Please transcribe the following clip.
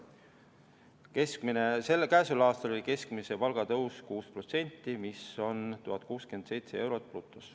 Käesoleval aastal oli keskmise palga tõus 6%, mis teeb brutopalgaks 1067 eurot.